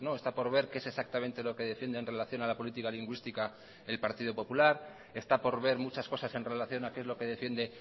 está por ver qué es exactamente lo que defiende en relación a la política lingüística el partido popular está por ver muchas cosas en relación a qué es lo que defiende